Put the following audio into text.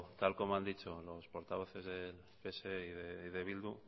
tal y como han dicho los portavoces del